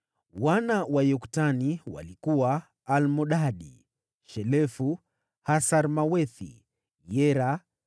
Wana wa Yoktani walikuwa: Almodadi, Shelefu, Hasarmawethi, Yera,